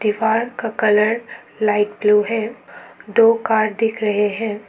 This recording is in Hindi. दीवार का कलर लाइट ब्ल्यू है दो कार दिख रहे है।